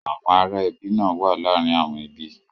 Àwọn ará ẹbi náà wa làrin àwọn ẹbí.